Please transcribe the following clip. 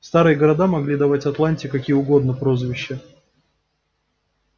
старые города могли давать атланте какие угодно прозвища